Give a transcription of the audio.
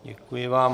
Děkuji vám.